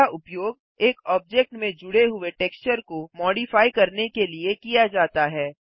इसका उपयोग एक ऑब्जेक्ट में जुड़े हुए टेक्चर को मोडिफाइ करने के लिए किया जाता है